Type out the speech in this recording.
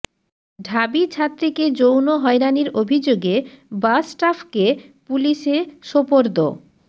ঢাবি ছাত্রীকে যৌন হয়রানির অভিযোগে বাস স্টাফকে পুলিশে সোপর্দ